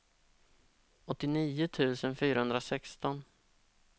åttionio tusen fyrahundrasexton